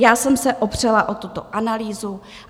Já jsem se opřela o tuto analýzu.